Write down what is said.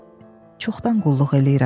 Mən çoxdan qulluq eləyirəm.